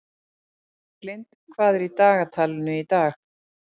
Berglind, hvað er í dagatalinu í dag?